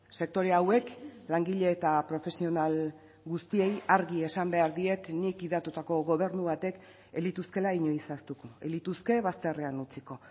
sektore hauek langile eta profesional guztiei argi esan behar diet nik gidatutako gobernu batek ez lituzkeela inoiz ahaztuko ez lituzke bazterrean utziko